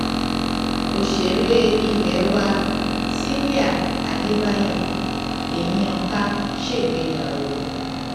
òṣèré ilé wa cìlà àdébáyò ẹyin ẹyin ọkà ṣègbéyàwó